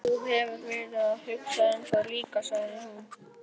Þú hefur verið að hugsa um það líka, sagði hún.